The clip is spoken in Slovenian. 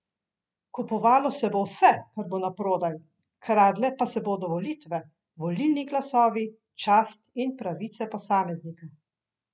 Kupovalo se bo vse, kar bo naprodaj, kradle pa se bodo volitve, volilni glasovi, čast in pravice posameznika.